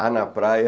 Há na praia...